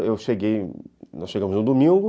Eu cheguei, nós chegamos no domingo.